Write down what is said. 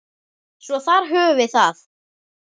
Svo þar höfum við það.